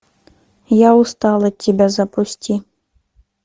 я устал от тебя запусти